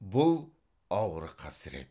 бұл ауыр қасірет